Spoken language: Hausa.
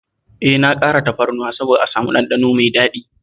E, na ƙara tafarnuwa saboda a samu ɗanɗano mai daɗi